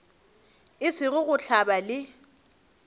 e sego go hlabja le